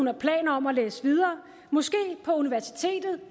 har planer om at læse videre måske på universitetet